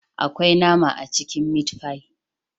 Akwai nama a cikin " meat pie"